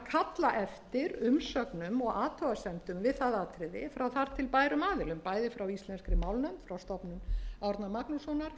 umsögnum og athugasemdum við það atriði frá þar til bærum aðilum bæði frá íslenskri málnefnd og stofnun árna magnússonar